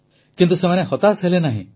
କିନ୍ତୁ ସେମାନେ ହତାଶ ହେଲେ ନାହିଁ